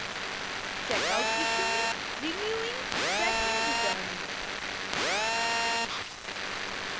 check out issuing renewing check in returning